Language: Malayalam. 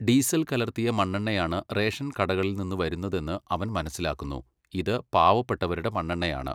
ഡീസല് കലർത്തിയ മണ്ണെണ്ണയാണ് റേഷൻ കടകളിൽ നിന്നു വരുന്നതെന്ന് അവൻ മനസ്സിലാക്കുന്നു, 'ഇത് പാവപ്പെട്ടവരുടെ മണ്ണെണ്ണയാണ്'.